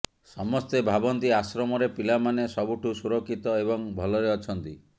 ସମସ୍ତେ ଭାବନ୍ତି ଆଶ୍ରମରେ ପିଲାମାନେ ସବୁଠୁ ସୁରକ୍ଷିତ ଏବଂ ଭଲରେ ଅଛନ୍ତି